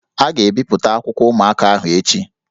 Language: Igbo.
A ga-ebipụta akwụkwọ ụmụaka ahụ echi